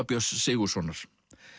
Björns Sigurðssonar